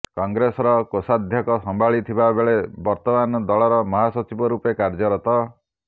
କଂଗ୍ରେସର କୋଷାଧ୍ୟକ୍ଷ ସମ୍ଭାଳିଥିବାବେଳେ ବର୍ତ୍ତମାନ ଦଳର ମହାସଚିବ ରୂପେ କାର୍ଯ୍ୟରତ